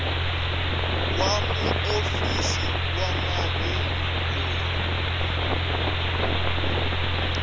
wa muofisiri wa mahungu loyi